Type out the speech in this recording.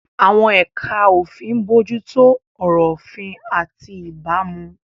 Àwọn ẹ̀ka òfin ń bójú tó ọ̀rọ̀ òfin àti ìbámu.